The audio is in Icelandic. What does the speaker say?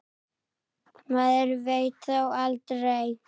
Maður veit þó aldrei.